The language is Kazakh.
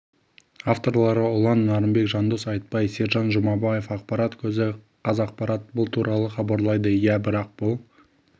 авторлары ұлан нарынбек жандос айтбай сержан жұмабаев ақпарат көзі қазақпарат бұл туралы хабарлайды иә бірақ бұл